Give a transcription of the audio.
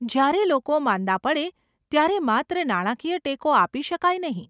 જયારે લોકો માંદા પડે ત્યારે માત્ર નાણાકીય ટેકો આપી શકાય નહીં.